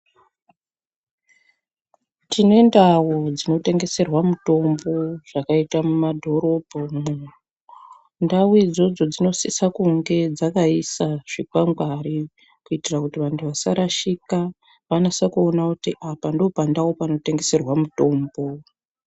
Tine ndau dzinotengeserwa mitombo zvakaita mumadhorobho, ndau idzodzo dzinosisa kunge dzakaisa zvikwangwani kuitira kuti andu vasarashika vanasakuona kuti apa ndopandau panotenheserwa mitombo.